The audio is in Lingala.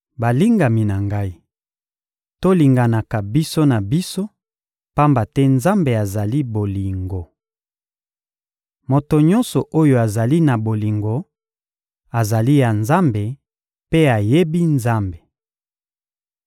Balingami na ngai, tolinganaka biso na biso, pamba te Nzambe azali bolingo. Moto nyonso oyo azali na bolingo azali ya Nzambe mpe ayebi Nzambe.